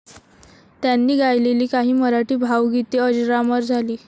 त्यांनी गायलेली काही मराठी भावगीते अजरामर झाली.